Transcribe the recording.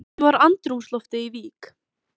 Kannski að vindurinn hafi eitthvað með það að gera?